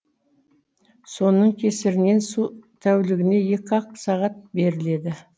соның кесірінен су тәулігіне екі ақ сағат беріледі